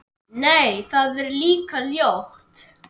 Nei, það er líka ljótt.